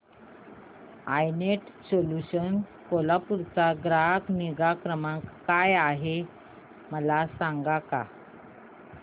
I net solutions Kolhapur चा ग्राहक निगा क्रमांक काय आहे मला सांगता का